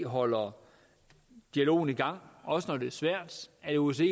holder dialogen i gang også når det er svært at osce